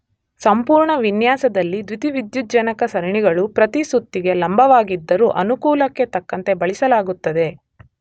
ಸಂಪೂರ್ಣ ವಿನ್ಯಾಸದಲ್ಲಿ ದ್ಯುತಿವಿದ್ಯುಜ್ಜನಕ ಸರಣಿಗಳು ಪ್ರತಿ ಸುತ್ತಿಗೆ ಲಂಬವಾಗಿದ್ದರೂ ಅನುಕೂಲಕ್ಕೆ ತಕ್ಕಂತೆ ಬಳಸಲಾಗುತ್ತದೆ